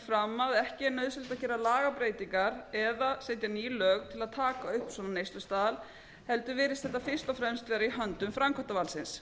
fram að ekki er nauðsynlegt að gera lagabreytingar eða setja ný lög til að taka upp svona neyslustaðal heldur virðist þetta fyrst og fremst vera í höndum framkvæmdarvaldsins